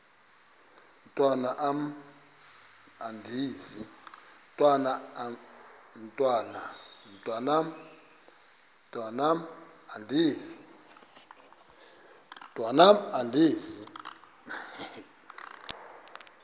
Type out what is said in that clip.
mntwan am andizi